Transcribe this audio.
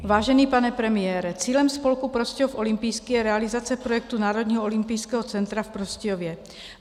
Vážený pane premiére, cílem spolku Prostějov olympijský je realizace projektu národního olympijského centra v Prostějově.